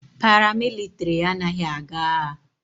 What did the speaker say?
Paramilitary anaghị aga agha.